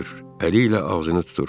Əli ilə ağzını tutur.